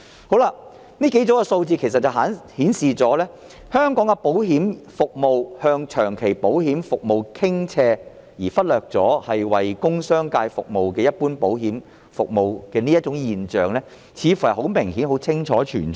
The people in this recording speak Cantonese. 其實，這數組數字顯示香港的保險業務向長期保險服務傾斜，忽略了為工商界提供的一般保險服務，這種現象似乎很明顯存在。